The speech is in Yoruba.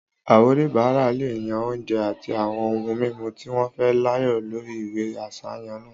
Àwọn oníbàárà lè yàn oúnjẹ àti àwọn ohun mímu tí wọ́n fẹ́ láàyò lórí ìwé àsàyàn náà